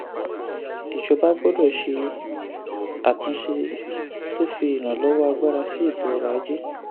ìjọba gbọ́dọ̀ ṣe àtúnṣe tó fi ìrànlọ́wọ́ agbára sí ètò ọrọ̀ ajé.